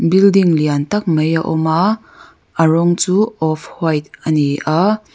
building lian tak mai a awm a a rawng chu off white a ni a.